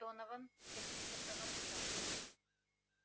донован сердито проворчал